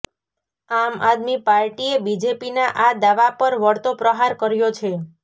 આમ આદમી પાર્ટીએ બીજેપીનાં આ દાવા પર વળતો પ્રહાર કર્યો છે